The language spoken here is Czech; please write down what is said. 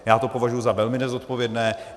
Já to považuji za velmi nezodpovědné.